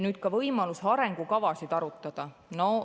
Nüüd võimalusest arengukavasid arutada.